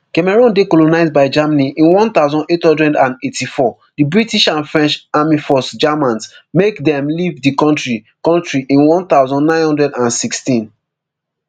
cameroon dey colonised by germany in one thousand, eight hundred and eighty-four di british and french army force germans make dem leave di kontri kontri in one thousand, nine hundred and sixteen